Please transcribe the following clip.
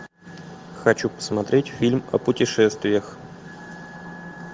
хочу посмотреть фильм о путешествиях